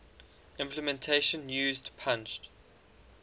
implementation used punched